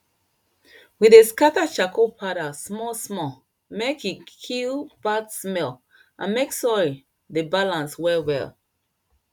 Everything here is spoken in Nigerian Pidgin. we dey scatter charcoal powder small small mek e kill bad smell and mek soil dey balance well well